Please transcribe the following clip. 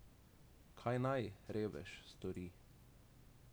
Kaj naj, revež, stori?